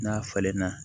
N'a falenna